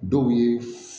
Dɔw ye